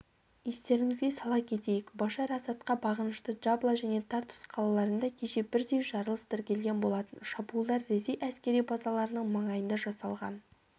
естеріңізге сала кетейік башар асадқа бағынышты джабла және тартус қалаларында кеше бірдей жарылыс тіркелген болатын шабуылдар ресей әскери базаларының маңайында жасалған